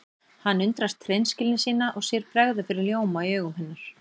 Hann undrast hreinskilni sína og sér bregða fyrir ljóma í augum hennar.